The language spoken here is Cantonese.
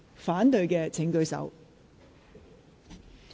反對的請舉手。